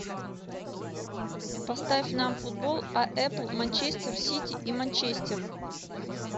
поставь нам футбол апл манчестер сити и манчестер